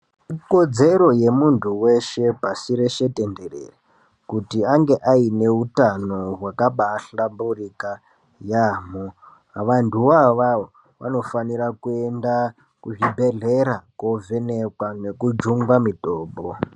Ikodzero yemuntu weshe pashibrshse tenderere kuti ange aine utano hwakahlamburika yamho, vantuvo avavo vanofanira kuenda kuzvibhedhlera kovhenekwa nekujungwa mitombo.